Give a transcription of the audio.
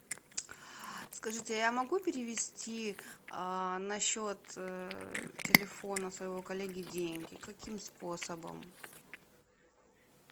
скажите а я могу перевести на счет телефона своего коллеги деньги каким способом